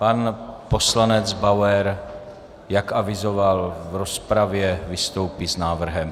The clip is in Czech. Pan poslanec Bauer, jak avizoval v rozpravě, vystoupí s návrhem.